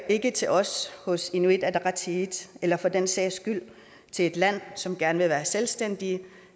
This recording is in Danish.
ikke til os hos inuit ataqatigiit eller for den sags skyld til et land som gerne vil være selvstændigt